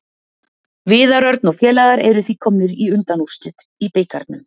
Viðar Örn og félagar eru því komnir í undanúrslit í bikarnum.